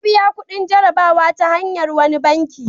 Ya biya kudin jarrabawa ta hanyar wani banki.